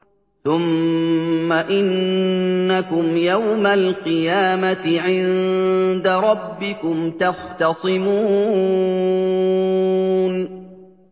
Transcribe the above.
ثُمَّ إِنَّكُمْ يَوْمَ الْقِيَامَةِ عِندَ رَبِّكُمْ تَخْتَصِمُونَ